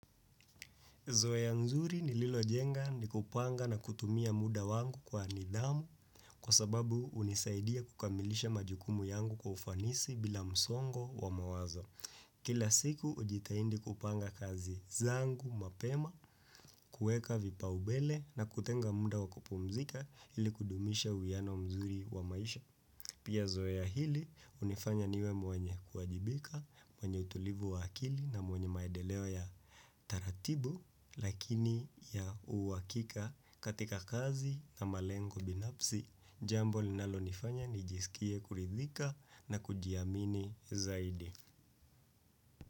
Zoea nzuri nililo jenga ni kupanga na kutumia muda wangu kwa nidhamu kwa sababu hunisaidia kukamilisha majukumu yangu kwa ufanisi bila msongo wa mawazo. Kila siku hujitahidi kupanga kazi zangu mapema, kuweka vipa umbele na kutenga muda wakupumzika ili kudumisha uwiano mzuri wa maisha. Pia zoea hili, hunifanya niwe mwenye kuwajibika, mwenye utulivu wa akili na mwenye maendeleo ya taratibu, lakini ya uhakika katika kazi na malengo binafsi, jambo linalo nifanya nijisikie kuridhika na kujiamini zaidi.